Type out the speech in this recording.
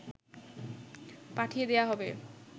পাঠিয়ে দেয়া হবে